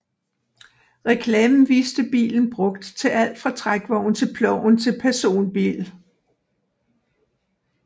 Reklamen viste bilen brugt til alt fra trækvogn til ploven til personbil